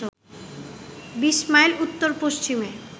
২০ mile উত্তর-পশ্চিমে